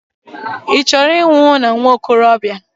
Ị chọrọ ịnwụ na nwokorobia?